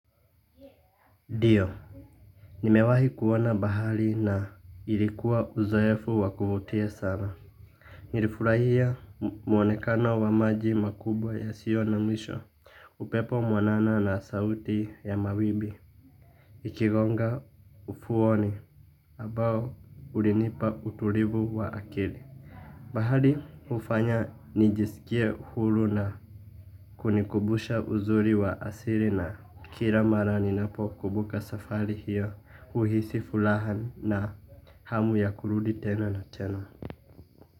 Ndio nimewahi kuona bahari na ilikuwa uzoefu wa kuvutia sana. Nilifurahia muonekano wa maji makubwa yasiyo na mwisho. Upepo mwanana na sauti ya mawimbi ikigonga ufuoni ambao ulinipa utulivu wa akili. Bahari hufanya nijiskie huru na kunikumbusha uzuri wa asili na kila mara ninapokumbuka safari hiyo huhisi furaha na hamu ya kurudi tena na tena.